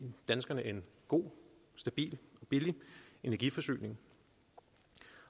danskerne en god stabil og billig energiforsyning